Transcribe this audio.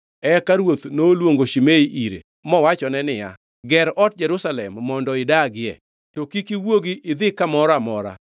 Eka ruoth noluongo Shimei ire, mowachone niya, ger ot Jerusalem mondo idagie to kik iwuogi ni idhi kamoro amora.